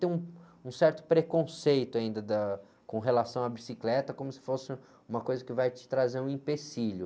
Tem um, um certo preconceito ainda da, com relação à bicicleta, como se fosse uma coisa que vai te trazer um empecilho.